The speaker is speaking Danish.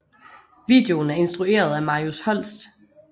Videon er instrueret af Marius Holst